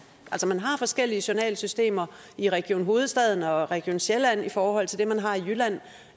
forskellige journalsystemer i region hovedstaden og region sjælland i forhold til det man har i jylland